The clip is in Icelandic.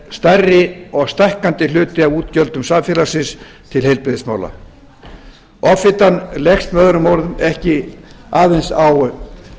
stærri og stækkandi hluti af útgjöldum samfélagsins til heilbrigðismála offitan leggst með öðrum orðum ekki aðeins á